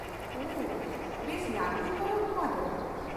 ᱳᱦᱚ, ᱵᱮᱥ ᱞᱟᱹᱴᱩ ᱯᱚᱨᱚᱵ ᱱᱚᱶᱟ ᱫᱚ ᱾